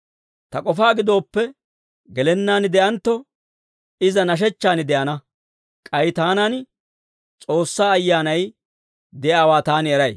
Ta k'ofaa gidooppe, gelennaan de'antto, iza nashechchaan de'ana. K'ay taanan S'oossaa Ayyaanay de'iyaawaa taani eray.